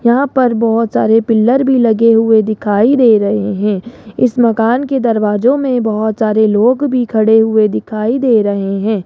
यहां पर बहोत सारे पिलर भी लगे हुए दिखाई दे रहे हैं इस मकान के दरवाजों में बहोत सारे लोग भी खड़े हुए दिखाई दे रहे हैं।